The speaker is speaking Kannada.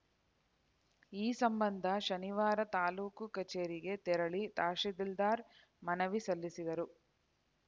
ಈ ಸಂಬಂಧ ಶನಿವಾರ ತಾಲೂಕು ಕಚೇರಿಗೆ ತೆರಳಿ ತಹಶೀಲದ್ದಿದಾರ್ ಮನವಿ ಸಲ್ಲಿಸಿದರು